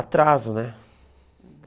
Atraso, né?